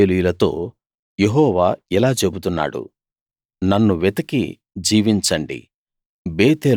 ఇశ్రాయేలీయులతో యెహోవా ఇలా చెబుతున్నాడు నన్ను వెతికి జీవించండి